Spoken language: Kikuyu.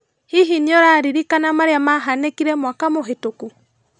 Hihi nĩũraririrkana marĩa mahanĩkire mwaka mũhetũku?